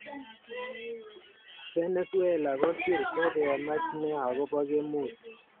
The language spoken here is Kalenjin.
Venezuela kosir, kokemach nea akobo kemut.